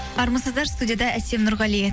армысыздар студияда әсем нұрғали